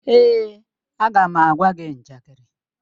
Èè, a ga m agwa gị njakịrị.